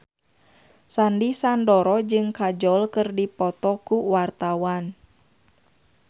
Sandy Sandoro jeung Kajol keur dipoto ku wartawan